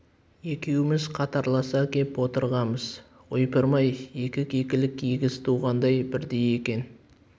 екеуміз қатарласа кеп отырғанбыз ойпырмай екі кекілік егіз туғандай бірдей екен